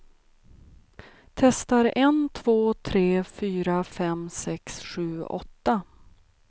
Testar en två tre fyra fem sex sju åtta.